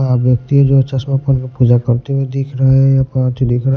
अ व्यक्ति जो चश्मापन पूजा करते हुए दिख रहा है या प दिख रहा है।